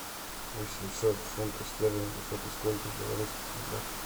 восемьсот фунтов стерлингов это сколько в белорусских рублях